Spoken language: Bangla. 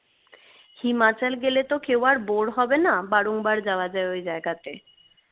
হিমাচল গেলে তো কেউ bore হবে না বারংবার যাওয়া যায় ওই জায়গাতে